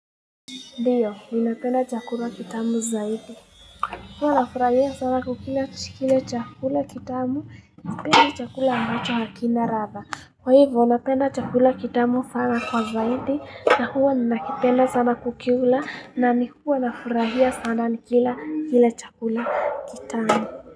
Ndeyo, minapena chakula kitamu zaidi. Huo anafurahia sana kukina kile chakula kitamu, nipenda chakula angacho hakina ratha. Kwa hivo, minapena chakula kitamu sana kwa zaidi, na huo minapena sana kukiula, na huo anafurahia sana nikila chakula kitamu.